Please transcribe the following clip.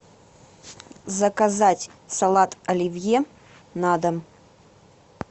заказать салат оливье на дом